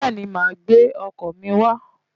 Bẹ́ẹ̀ni, màá gbé ọkọ̀ mi wá.